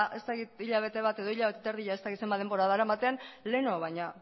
ez dakit hilabete bat edo hilabete eta erdia ez dakit zenbat denbora daramaten lehenago baino